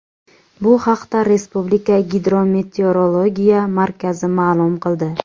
Bu haqda Respublika Gidrometeorologiya markazi ma’lum qildi .